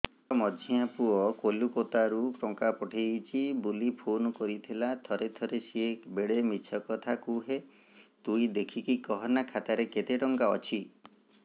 ମୋର ମଝିଆ ପୁଅ କୋଲକତା ରୁ ଟଙ୍କା ପଠେଇଚି ବୁଲି ଫୁନ କରିଥିଲା ଥରେ ଥରେ ସିଏ ବେଡେ ମିଛ କଥା କୁହେ ତୁଇ ଦେଖିକି କହନା ଖାତାରେ କେତ ଟଙ୍କା ଅଛି